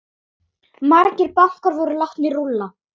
Margir bankar voru látnir rúlla.